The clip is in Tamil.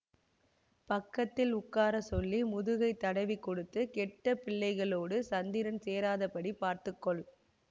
பக்கத்தில் உட்கார சொல்லி முதுகை தடவிக் கொடுத்து கெட்ட பிள்ளைகளோடு சந்திரன் சேராதபடி பார்த்துக்கொள்